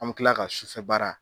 An bɛ tila ka sufɛ baara